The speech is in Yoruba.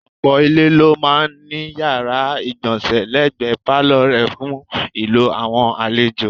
Ọ̀pọ̀ ilé ló máa ń ní yàrá ìgbọ̀nsẹ̀ lẹ́gbẹ̀ẹ́ pálọ̀ rẹ̀ fún ìlò àwọn àlejò.